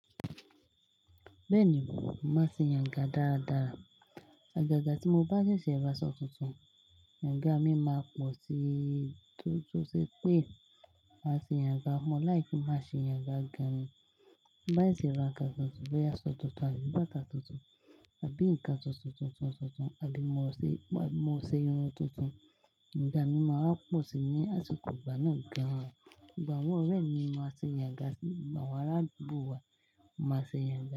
Bẹ́ẹ̀ni mo máa ṣe ìyànga dáadáa. Àgàgà tí mo bá ṣẹ̀ṣẹ̀ ra aṣọ tuntun, ìyànga mi máa pọ̀ sí i, torí, tó se pé máa ṣe ìyànga mọ lìkẹ́ kí n má ṣe ìyànga ga mi. Bá ṣe ra kan tuntun, bóyá aṣọ tuntun àbí bàtà tuntun, àbí nǹkan tuntun tuntun tuntun tuntun, àbí mo ṣe irun tuntun, ìyànga mi máa wá pọ̀ sí i ní àsìkò ìgbà náà gan-an. Gbogbo àwọn orẹ mi máa ṣe ìyànga sí, gbogbo awon arádugbo wa máa ṣe ìyànga.